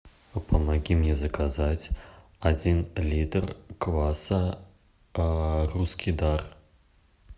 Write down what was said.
помоги мне заказать один литр кваса русский дар